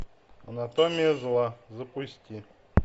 анатомия зла запусти